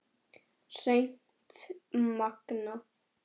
Hreint magnað!